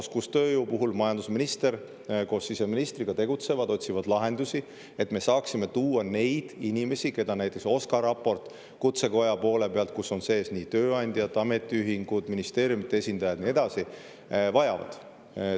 Oskustööjõu puhul tegutseb majandusminister koos siseministriga, otsides lahendusi, et me saaksime siia tuua neid inimesi, keda näiteks OSKA raporti järgi Kutsekoja poole pealt, kus on sees tööandjad, ametiühingud, ministeeriumide esindajad ja nii edasi, vajatakse.